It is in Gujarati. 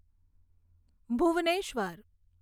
ભુવનેશ્વર